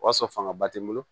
O y'a sɔrɔ fangaba tɛ n bolo